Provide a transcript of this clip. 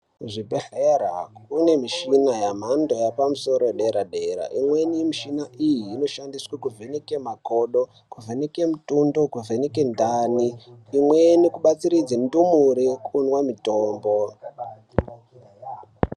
Kuzvibhedhlera kunemishina yemhando yapamsoro wederadera. Imweni mushiai iyi, inoshandiswe kuvheneke makodho, kuvheneke mitundo, kuvheneke ndarwe. Imweni kubatsiridza ndumure kumwa mutombo.